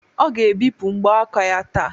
Ọ ga-ebipụ mbọ aka ya taa